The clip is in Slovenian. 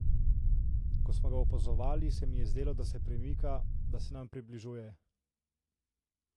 Ko smo ga opazovali, se mi je zdelo, da se premika, da se nam približuje.